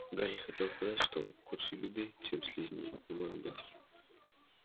гарри хотел сказать что худшей беды чем слизни не может быть